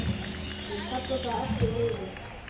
Ég kalla það ekki veiði.